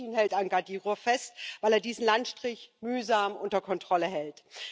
Und Putin hält an Kadyrow fest, weil er diesen Landstrich mühsam unter Kontrolle hält.